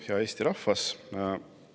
Hea Eesti rahvas!